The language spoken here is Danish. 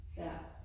Ja